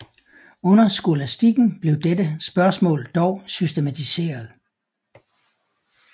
Under skolastikken blev dette spørgsmål dog systematiseret